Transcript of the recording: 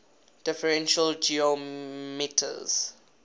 differential geometers